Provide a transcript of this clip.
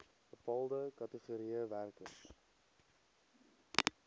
bepaalde kategorieë werkers